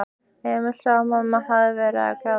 Emil sá að mamma hafði verið að gráta.